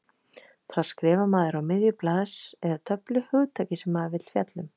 Þá skrifar maður á miðju blaðs eða töflu hugtakið sem maður vill fjalla um.